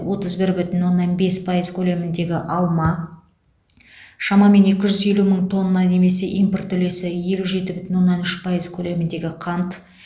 отыз бір бүтін оннан бес пайыз көлеміндегі алма шамамен екі жүз елу мың тонна немесе импорт үлесі елу жеті бүтін оннан үш пайыз көлеміндегі қант